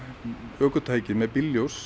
ökutæki með